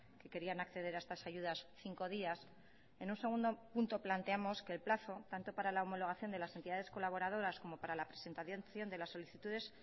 que querían acceder a estas ayudas cinco días en un segundo punto planteamos que el plazo tanto para la homologación de las entidades colaboradoras como para la presentación de las solicitudes